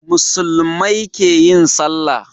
Muslumai keyin sallah